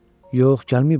Yox, gəlməyib axı.